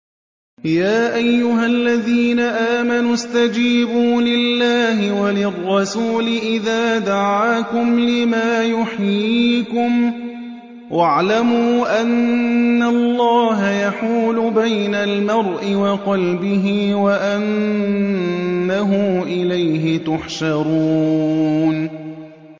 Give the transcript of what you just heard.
يَا أَيُّهَا الَّذِينَ آمَنُوا اسْتَجِيبُوا لِلَّهِ وَلِلرَّسُولِ إِذَا دَعَاكُمْ لِمَا يُحْيِيكُمْ ۖ وَاعْلَمُوا أَنَّ اللَّهَ يَحُولُ بَيْنَ الْمَرْءِ وَقَلْبِهِ وَأَنَّهُ إِلَيْهِ تُحْشَرُونَ